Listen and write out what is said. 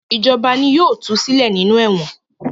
Ìjọba ni yóò tu sílẹ̀ nínú ẹ̀wọ̀n.